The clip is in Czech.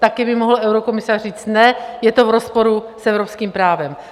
Také by mohl eurokomisař říct: Ne, je to v rozporu s evropským právem.